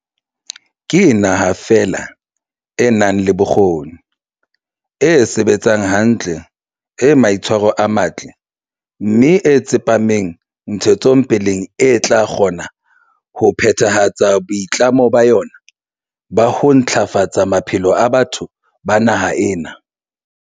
Ke naha feela e nang le bokgoni, e sebetsang hantle, e maitshwaro a matle mme e tsepameng ntshetsopeleng e tla kgona ho phethahatsa boitlamo ba yona ba ho ntla fatsa maphelo a batho ba naha ena.